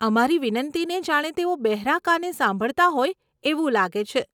અમારી વિનંતીને જાણે તેઓ બહેરા કાને સાંભળતા હોય એવું લાગે છે.